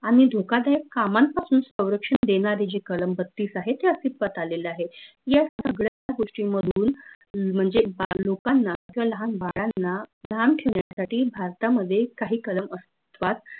आनि धोकादाय कामांपासून सौरक्षन देनारे जे कळम बत्तीस आहेत ते अस्थित्वात आलेले आहेत या सगळ्या गोष्टींमधून म्हनजे लोकांना किंव्हा लाहान बाळांना लांब ठेवन्यासाठी भारतामध्ये काही कळम अस्थित्वात